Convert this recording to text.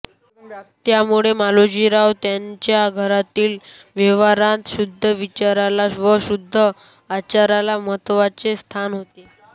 त्यामुळे मालोजीराव यांच्या घरातील व्यवहारांत शुद्ध विचाराला व शुद्ध आचाराला महत्त्वाचे स्थान होते